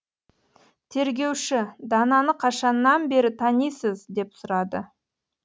тергеуші дананы қашаннан бері танисыз деп сұрады